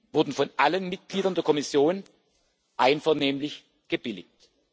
wurden von allen Mitgliedern der Kommission einvernehmlich gebilligt.